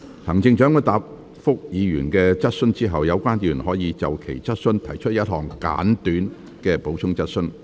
行政長官答覆議員的質詢後，有關議員可就其質詢提出一項簡短的補充質詢。